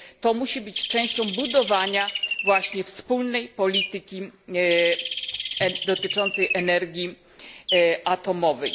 To musi być częścią budowania właśnie wspólnej polityki dotyczącej energii atomowej.